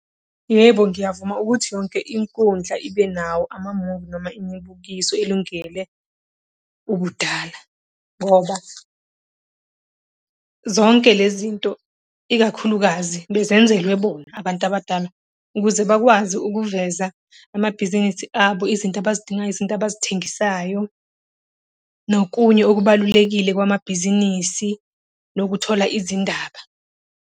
Yebo ngiyavuma ukuthi yonke inkundla ibe nawo amamuvi noma imibukiso elungele ubudala. Ngoba zonke le zinto, ikakhulukazi bezenzelwe bona abantu abadala ukuze bakwazi ukuveza amabhizinisi abo, izinto abazidingayo, izinto abazithengisayo nokunye okubalulekile kwamabhizinisi nokuthola izindaba.